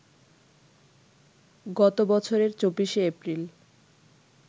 গত বছরের ২৪শে এপ্রিল